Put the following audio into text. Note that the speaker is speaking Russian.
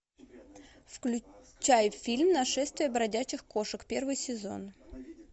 включай фильм нашествие бродячих кошек первый сезон